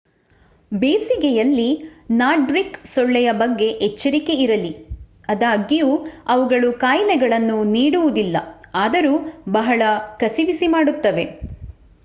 ಬೇಸಿಗೆಯಲ್ಲಿ ನಾರ್ಡಿಕ್ ಸೊಳ್ಳೆಯ ಬಗ್ಗೆ ಎಚ್ಚರಿಕೆ ಇರಲಿ ಅದಾಗ್ಯೂ ಅವುಗಳು ಖಾಯಿಲೆಗಳನ್ನು ನೀಡುವುದಿಲ್ಲ ಆದರೂ ಬಹಳ ಕಸಿವಿಸಿ ಮಾಡುತ್ತವೆ